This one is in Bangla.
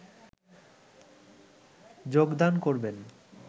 যোগদান করবেন